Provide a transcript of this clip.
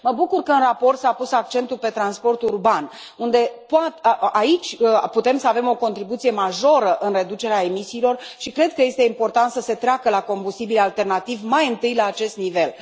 Mă bucur că în raport s a pus accentul pe transportul urban, unde putem să avem o contribuție majoră în reducerea emisiilor și cred că este important să se treacă la combustibili alternativi mai întâi la acest nivel.